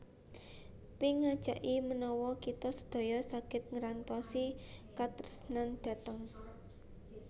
Pink ngajaki menawa kita sedaya saget ngerantosi katresnan dhateng